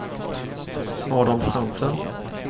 Adolf Hansen